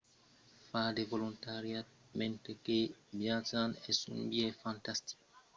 far de volontariat mentre que viatjam es un biais fantastic de crear la diferéncia mas s'agís pas sonque de donar